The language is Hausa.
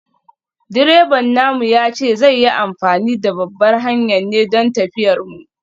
Direban namu ya ce zai yi amfani da babbar hanyar ne don tafiyar mu.